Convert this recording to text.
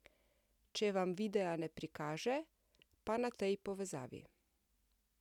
Če vam videa ne prikaže, pa na tej povezavi.